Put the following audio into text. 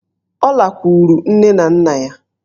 Ọ lakwuru nne na nna ya.